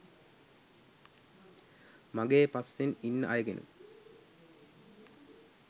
මගේ පස්සෙන් ඉන්න අයගෙනුත්